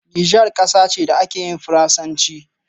Niger ƙasa ce da ake yin faransanci.